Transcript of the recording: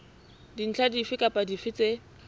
dintlha dife kapa dife tse